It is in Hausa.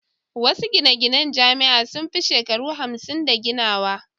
Wasu gine-ginen Jami'a sun fi shekaru hamsin da ginawa